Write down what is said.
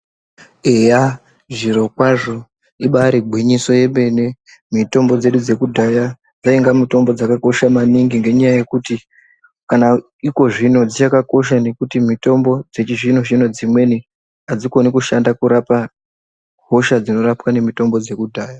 Eya zviro kwazvo ibairi ngwinyiso ye mene mitombo dzedu dze kudhaya dzainga mitombo dzaka kosha maningi ngenya yekuti kana iko zvino dzikacha kosha nekuti mitombo dzechi zvino zvino dzimweni adzikoni kushanda kurapa hosha dzinorapwa ne mitombo dzeku dhaya.